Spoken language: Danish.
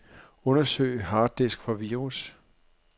Undersøg harddisk for virus.